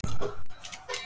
Eins og nú.